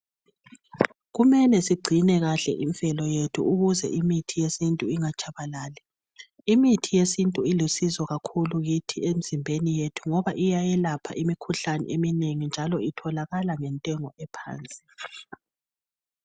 Kumele sigcine kahle imvelo yethu ukuze imithi yesintu ingatshabalali. Imithi yesintu ilusizo kakhulu kithi emzimbeni yethu ngoba iyayelapha imikhuhlane eminingi njalo itholakala ngentengo ephansi.